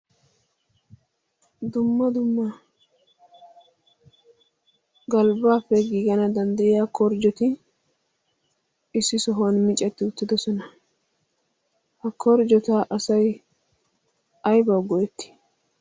dumma dumma galbbappe giigana danddayiya korjjoti issi sohuwan miicatti uttidosona. ha korjjota asai aibawu go'etti?